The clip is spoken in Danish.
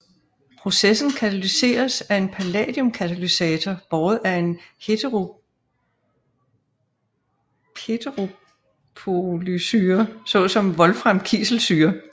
Processen katalyseres af en palladiumkatalysator båret af en heteropolysyre såsom wolframkiselsyre